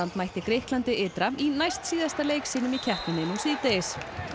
mætti Grikklandi ytra í næstsíðasta leik sínum í keppninni nú síðdegis